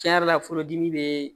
Cɛn yɛrɛ la furudimi bɛ